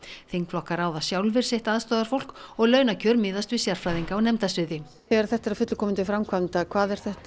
þingflokkar ráða sjálfir sitt aðstoðarfólk og launakjör miðast við sérfræðinga á nefndasviði þegar þetta er að fullu komið til framkvæmda hvað er þetta